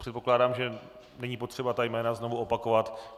Předpokládám, že není potřeba ta jména znovu opakovat.